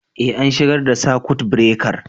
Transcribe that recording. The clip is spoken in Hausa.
Eh, an shigar da sakut birekar.